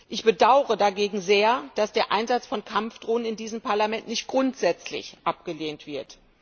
Ich bedaure dagegen sehr, dass der Einsatz von Kampfdrohnen in diesem Parlament nicht grundsätzlich abgelehnt wird.